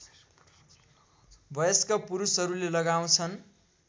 वयस्क पुरुषहरूले लगाउँछन्